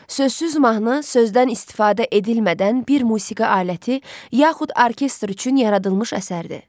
Sözsüz mahnı sözdən istifadə edilmədən bir musiqi aləti yaxud orkestr üçün yaradılmış əsərdir.